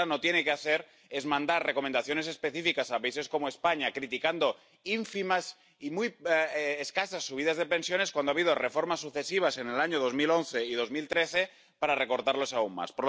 Lo que de entrada no tiene que hacer es mandar recomendaciones específicas a países como España, criticando ínfimas y muy escasas subidas de pensiones cuando ha habido reformas sucesivas en el año 2011 y 2013 para recortarlas aún más.